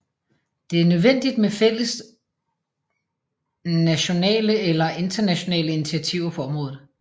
Det er nødvendigt med fælles natonale eller internationale initiativer på området